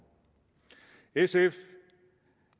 sf